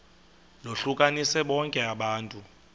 lohlukanise bonke abantu